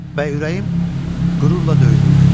Və ürəyim qürurla döyünürdü.